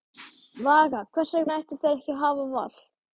Vaka: Hvers vegna ættu þeir ekki að hafa val?